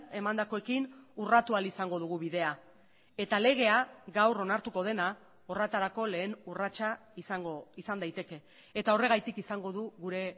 emandakoekin urratu ahal izango dugu bidea eta legea gaur onartuko dena horretarako lehen urratsa izan daiteke eta horregatik izango du gure